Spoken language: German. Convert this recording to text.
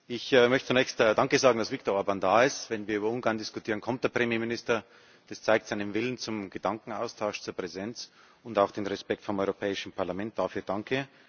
Ich möchte zunächst Danke sagen, dass Viktor Orbán da ist. Wenn wir über Ungarn diskutieren, kommt der Premierminister das zeigt seinen Willen zum Gedankenaustausch, zur Präsenz, und auch den Respekt vor dem Europäischen Parlament. Dafür danke.